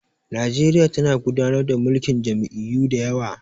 Nigeria tana gudanar da mulkin jam'iyyu da yawa